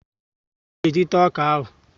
Kedụ mgbe anyị ga e jị taa ọkà áhù?